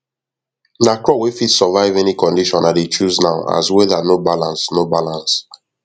na crop wey fit survive any condition i dey chose now as weather no balance no balance